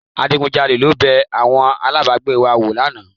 Adigunjalè ló bẹ àwọn alábàágbé wa wò lánàá